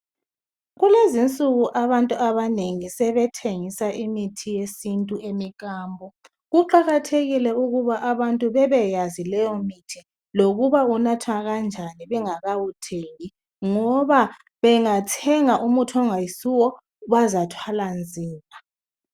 Kulezinsuku abantu abanengi sebethengisa imithi yesintu emikambo Kuqakathekile ukuba abantu bebeyazi leyo mithi lokuba unathwa kanjani bengakawuthengi ngoba bengathenga umuthi ongayisuwo bazathwala nzima